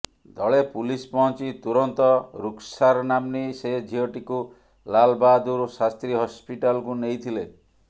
ଦଳେ ପୁଲିସ ପହଞ୍ଚି ତୁରନ୍ତ ରୁକ୍ସାର୍ ନାମ୍ନୀ ସେ ଝିଅଟିକୁ ଲାଲ୍ ବାହାଦୁର ଶାସ୍ତ୍ରୀ ହସ୍ପିଟାଲ୍କୁ ନେଇ ଥିଲେ